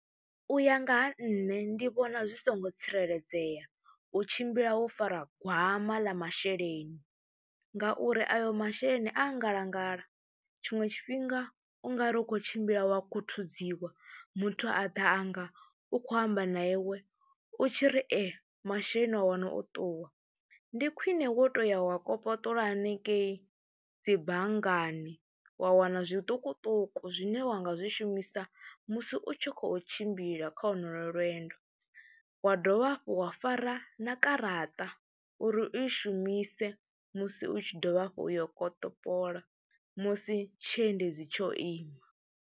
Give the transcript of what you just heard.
U ya nga ha nṋe ndi vhona zwi songo tsireledzea u tshimbila wo fara gwama ḽa masheleni ngauri ayo masheleni a ngalangala, tshiṅwe tshifhinga u nga ri u khou tshimbila wa khuthuziwa muthu a ḓa a nga u khou amba na iwe, u tshi ri e, masheleni a wana o ṱuwa. Ndi khwine wo tou ya wa kopolola hanengei dzi banngani wa wana zwiṱukuṱuku zwine wa nga zwi shumisa musi u tshi khou tshi tshimbila kha honoyo lwendo, wa dovha hafhu wa fara na garaṱa uri u i shumise musi u tshi dovha hafhu u yo u kopoṱola musi tshiendedzi tsho ima.